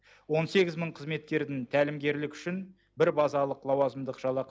он сегіз мың қызметкердің тәлімгерлік үшін бір базалық лауазымдық жалақы